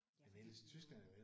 Ja fordi det er jo